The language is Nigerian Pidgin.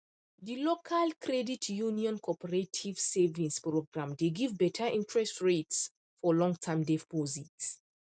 the local credit union cooperative savings program dey give better interest rate for longterm deposit